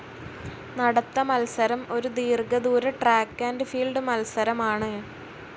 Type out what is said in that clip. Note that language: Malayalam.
നടത്ത മത്സരം ഒരു ദീർഘ ദൂര ട്രാക്ക്‌ ആൻഡ്‌ ഫീൽഡ്‌ മത്സരമാണ്.